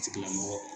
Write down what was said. Tigilamɔgɔ